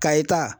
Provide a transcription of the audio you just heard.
Kayita